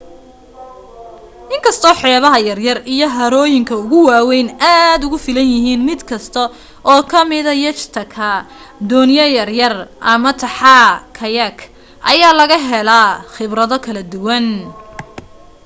in kastoo xeebaha yaryar iyo harooyinka ugu waaweyni aad ugu filanyihiin mid kasta oo kammida yacht ka doonyo yaryar ama taxaa kayak ayaa laga helaa khibrado kala duwan